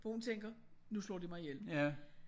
For hun tænker nu slår de mig ihjel